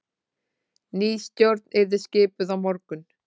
Ný stjórn yrði skipuð á morgun